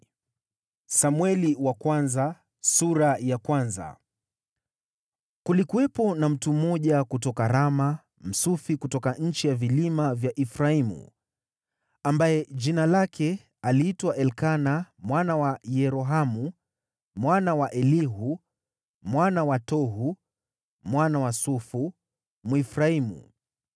Kulikuwepo na mtu mmoja kutoka Rama, Msufi kutoka nchi ya vilima vya Efraimu, ambaye jina lake aliitwa Elikana mwana wa Yerohamu, mwana wa Elihu mwana wa Tohu, mwana wa Sufu, Mwefraimu.